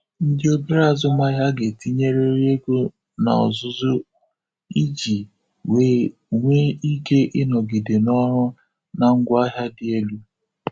Ndị obere azụmaahịa ga-etinyerịrị ego na ọzụzụ iji wee nwee ike inọgide n'ọrụ na ngwaahịa dị elụ.